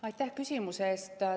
Aitäh küsimuse eest!